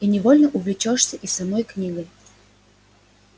и невольно увлечёшься и самой книгой